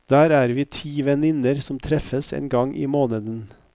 Der er vi ti venninner som treffes en gang i måneden.